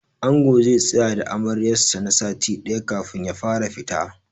Angon zai tsaya da Amaryar sa na sati ɗaya kafin ya fara fita.